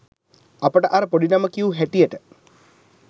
අපට අර පොඩි නම කියූ හැටියට